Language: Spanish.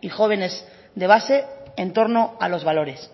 y jóvenes de base en torno a los valores